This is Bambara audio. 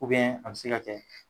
an bɛ se ka kɛ.